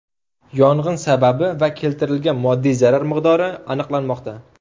Yong‘in sababi va keltirilgan moddiy zarar miqdori aniqlanmoqda.